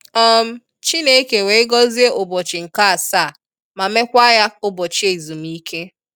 um Chineke wee gozie ụbọchi nke asaa ma mee kwa ya ụbọchi ezumike.